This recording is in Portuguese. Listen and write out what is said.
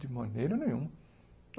De maneira nenhuma.